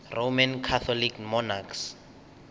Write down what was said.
roman catholic monarchs